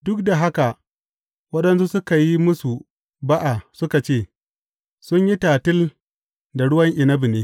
Duk da haka waɗansu suka yi musu ba’a suka ce, Sun yi tatil da ruwan inabi ne.